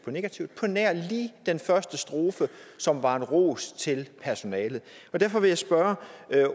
negativt på nær lige den første strofe som var en ros til personalet derfor vil jeg spørge